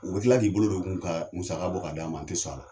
U bɛ tila k'i bolo don u kun ka musa bɔ k'a d'a ma , an tɛ sɔn a la.